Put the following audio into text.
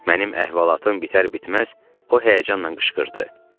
Mənim əhvalatım bitər-bitməz o həyəcanla qışqırdı: